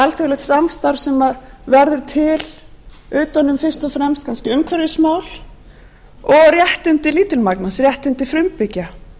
alþjóðlegt samstarf sem verður til utan um fyrst og fremst kannski umhverfismál og réttindi lítilmagnans réttindi frumbyggja